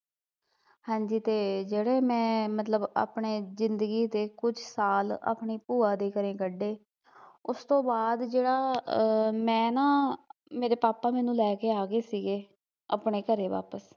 ਹਾਂ ਜੀ ਤੇ ਜਿਹੜੇ ਮੈਂ ਮਤਲਬ ਆਪਣੇ ਜਿੰਦਗੀ ਦੇ ਕੁਝ ਸਾਲ ਆਪਣੀ ਭੂਆ ਦੇ ਘਰੇ ਕੱਢੇ ਉਸਤੋਂ ਬਾਦ ਜਿਹੜਾ ਆ ਮੈਂ ਨਾ, ਮੇਰੇ ਪਾਪਾ ਮੈਨੂੰ ਲੈਕੇ ਆਗੇ ਸੀਗੇ ਆਪਣੇ ਘਰੇ ਵਾਪਿਸ